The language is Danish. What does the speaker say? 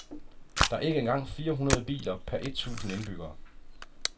Der er ikke engang fire hundrede biler per et tusind indbyggere.